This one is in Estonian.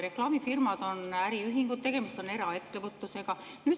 Reklaamifirmad on äriühingud, tegemist on eraettevõtlusega.